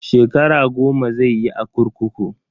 Shekara goma zai yi a kurkuku.